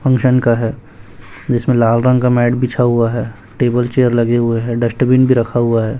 Function का है जिसमें लाल रंग का मैट बिछाया हुआ है टेबल चेयर लगे हुए हैं डस्टबिन भी रखा हुआ है।